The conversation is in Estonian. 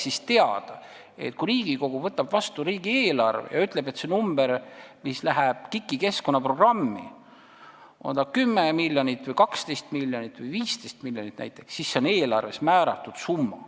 Just seetõttu, kui Riigikogu võtab vastu riigieelarve ja ütleb, et see summa, mis läheb KIK-i keskkonnaprogrammi, on näiteks 10 miljonit, 12 miljonit või 15 miljonit, siis oleks see eelarves määratud summa.